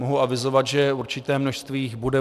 Mohu avizovat, že určité množství jich bude.